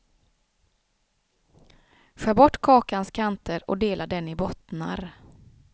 Skär bort kakans kanter och dela den i bottnar.